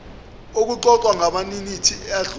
okuxoxwayo ngamaminithi adlule